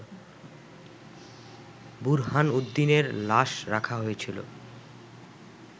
বুরহানুদ্দিনের লাশ রাখা হয়েছিল